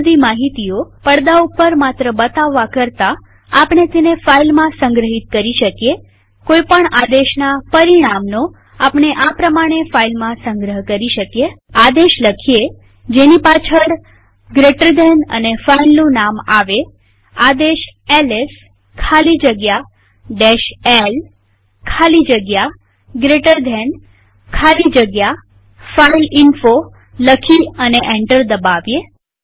આ બધી માહિતીઓ પડદા ઉપર માત્ર બતાવવા કરતાઆપણે તેને ફાઈલમાં સંગ્રહિત કરી શકીએકોઈ પણ આદેશના પરિણામનો આપણે આ પ્રમાણે ફાઈલમાં સંગ્રહ કરી શકીએ આદેશ લખીએ જેની પાછળ જીટી અને ફાઈલનું નામ આવેઆદેશ એલએસ ખાલી જગ્યા l ખાલી જગ્યા જીટી ખાલી જગ્યા ફાઇલઇન્ફો લખી અને એન્ટર દબાવીએ